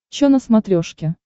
чо на смотрешке